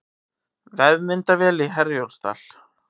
Vefmyndavél í Herjólfsdal